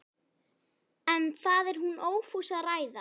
En það er hún ófús að ræða.